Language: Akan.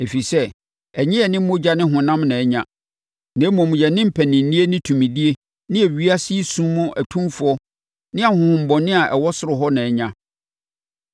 Ɛfiri sɛ, ɛnyɛ yɛne mogya ne honam na anya, na mmom, yɛne mpaninnie ne tumidie ne ewiase yi sum mu atumfoɔ ne ahonhommɔne a ɛwɔ soro hɔ na anya.